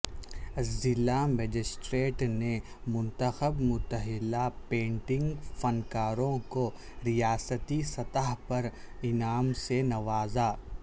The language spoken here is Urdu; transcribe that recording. ضلع مجسٹریٹ نے منتخب متھلا پینٹنگ فنکاروں کو ریاستی سطح پر انعام سے نوازا